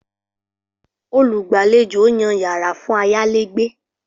Olùgbàlejò yàn yara fun ayalegbe.